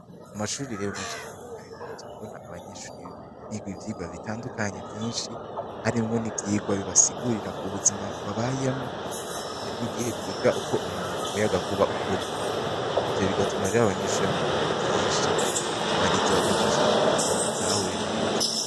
Mu mashurire yomwenshi atandukanye dugumze kubona abanyeshuribigwa ivyirwa bitandukanye vyinshi harimwo n'ivyigwa bibasigurira ku buzima bw babayemwo hari n'igihe biga ukwo muyaga nkuba ukwogwa ivyo bigatuma ariri abanyeshuri bamenye bintu vyinshi abarizi bagafasha kugira ngo babitahure neza.